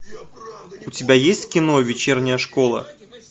у тебя есть кино вечерняя школа